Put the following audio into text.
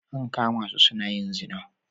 An kama su suna yin zina